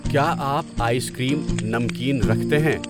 کیا آپ ice cream, نمکین رکھتے ہیں؟